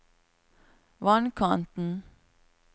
vannkanten